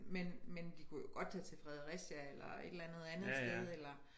Men men de kunne jo godt tage til Fredericia eller et eller andet andet sted eller